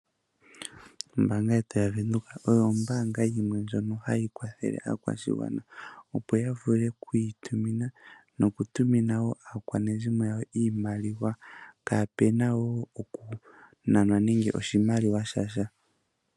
Ombaanga yetu yaVenduka oyo ombaanga yimwe ndjono hayi kwathele aakwashigwana opo ya vule oku itumina nokutumina wo aakwanezimo yawo iimaliwa kaape na wo okunanwa nenge oshimaliwa sha sha.